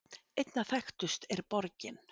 Einna þekktust er borgin